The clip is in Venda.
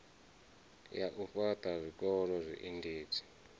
ya u fhaṱha zwikolo zwiendedzi